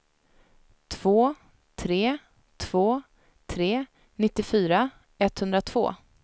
två tre två tre nittiofyra etthundratvå